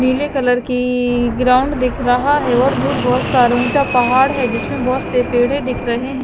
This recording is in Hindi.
नीले कलर की ग्राउंड दिख रहा है और दूर बहुत सारा ऊंचा पहाड़ है जिसमें बहुत से पेड़े दिख रहे हैं।